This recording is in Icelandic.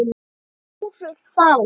Þeir fóru þá.